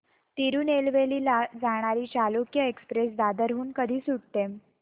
तिरूनेलवेली ला जाणारी चालुक्य एक्सप्रेस दादर हून कधी सुटते